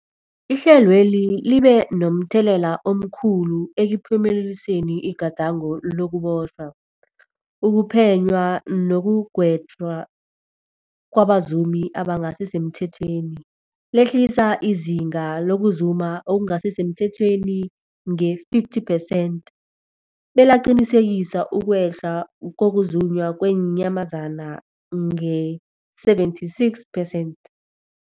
Ihlelweli libe momthelela omkhulu ekuphumeleliseni igadango lokubotjhwa, ukuphenywa nekugwetjweni kwabazumi abangasisemthethweni, lehlisa izinga lokuzuma okungasi semthethweni nge-50 percent, belaqinisekisa ukwehla kokuzunywa kweenyamazana nge-76 percent.